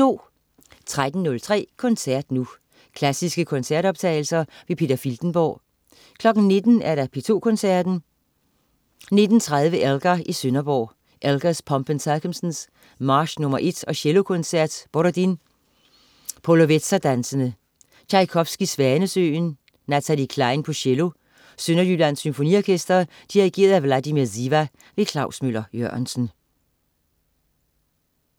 13.03 Koncert nu. Klassiske koncertoptagelser. Peter Filtenborg 19.00 P2 Koncerten. 19.30 Elgar i Sønderborg. Elgar: Pomp & Circumstance, march nr. 1 og Cellokoncert. Borodin: Polovetserdanse. Tjajkovskij: Svanesøen. Natalie Clein, cello. Sønderjyllands Symfoniorkester. Dirigent: Vladimir Ziva. Klaus Møller-Jørgensen